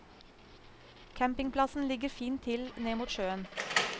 Campingplassen ligger fint til ned mot sjøen.